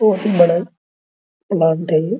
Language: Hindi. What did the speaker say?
बहुत ही बड़ा प्लांट है ये --